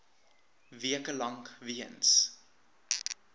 weke lank weens